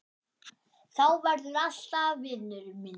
Þú verður alltaf vinur minn.